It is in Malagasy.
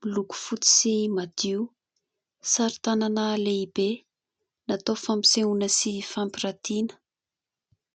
miloko fotsy sy madio. Sary tanana lehibe natao fampisehoana sy fampirantiana.